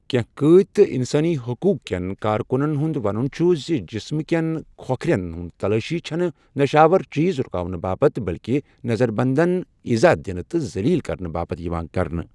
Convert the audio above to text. کینٛہہ قٲدۍ تہٕ انسٲنی حقوق کٮ۪ن کارکُنن ہُنٛد ونُن چھُ زِ جِسمہٕ كٮ۪ن كھوكھرٮ۪ن ہنز تلٲشی چھنہٕ نشاور چیز رٗكاونہٕ باپتھ بٔلكہِ نظربنٛدَن اِزاہ دِنہٕ تہٕ زٔلیٖل کرنہٕ باپتھ یِوان کرنہٕ۔